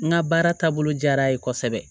N ka baara taabolo diyara a ye kosɛbɛ